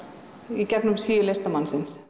í gegnum síu listamannsins